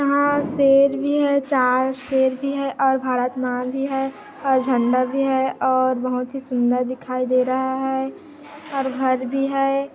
यंहा शेर भी है चार शेर भी है और भारत माँ भी है और झण्डा भी है और बहुत ही सुंदर दिखाई दे रहा है और घर भी है।